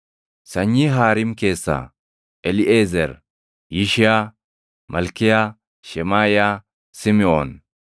Sanyii Haariim keessaa: Eliiʼezer, Yishiyaa, Malkiyaa, Shemaaʼiyaa, Simiʼoon,